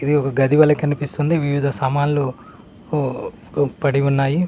ఇది ఒక గది వలె కనిపిస్తుంది వివిధ సామాన్లు ఉ పడి ఉన్నాయి.